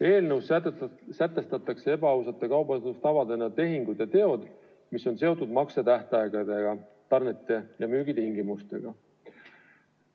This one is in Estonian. Eelnõus sätestatakse ebaausate kaubandustavadena tehingud ja teod, mis on seotud maksetähtaegadega ning tarnete ja müügi tingimustega.